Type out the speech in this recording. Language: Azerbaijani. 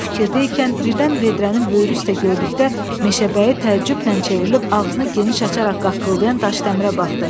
Bu fikirdə ikən birdən vedrənin böyrü üstə gördükdə Meşəbəyi təəccüblə çevrilib ağzını geniş açaraq qaqqıldayan Daşdəmərə baxdı.